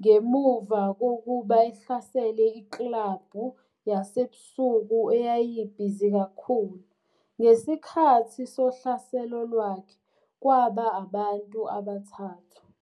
ngemuva kokuba ehlasele iklabhu yasebusuku eyayibhizi kakhulu, ngesikhathi sohlaselo lwakhe kwaba abantu abathathu.